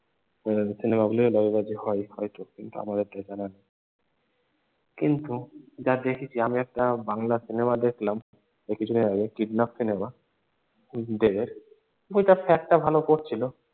সাউথের সিনেমগুলোও লবিবাজি হয় হয়তো কিন্তু যা দেখেছি আমি একটা বাংলা সিনেমা দেখলাম এই কিছু দিন আগে কিডন্যাপ সিনেমা বইটার fact টাও ভালো করছিল।